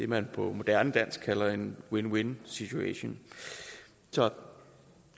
man på moderne dansk kalder en win win situation så